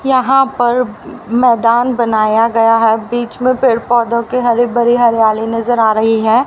यहां पे मैदान बनाया गया है। बीच मे पेड़ पौधों की हरि भरी हरियाली नज़र आ रही है।